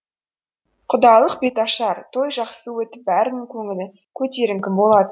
құдалық беташар той жақсы өтіп бәрінің көңілі көтеріңкі болатын